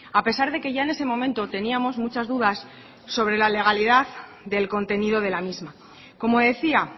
a pesar de que ya en ese momento teníamos muchas dudas sobre la legalidad del contenido de la misma como decía